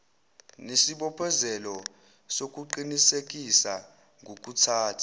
nesibophezelo sokuqinisekisa ngokuthatha